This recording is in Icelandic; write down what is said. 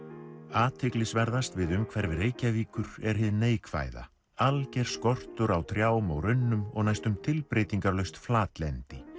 athyglisverðast við umhverfi Reykjavíkur er hið neikvæða alger skortur á trjám og runnum og næstum flatlendi